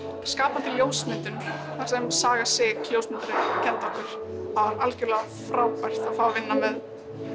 skapandi ljósmyndun þar sem Saga sig ljósmyndari kenndi okkur var algjörlega frábært að vinna með